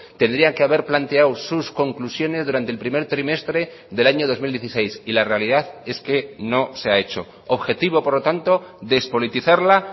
tendrían que haber planteado sus conclusiones durante el primer trimestre del año dos mil dieciséis y la realidad es que no se ha hecho objetivo por lo tanto despolitizarla